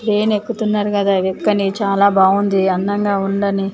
Train ఎక్కుతున్నారు కదా ఎక్కని చాలా బాగుంది అందంగా ఉందని.